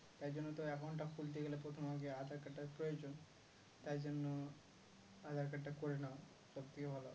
তাইজন্য তো account টা খুলতে গেলে প্রথমে আগে aadhar card টার প্রয়োজন তাইজন্য aadhar card টা করে নাও সব থেকে ভালো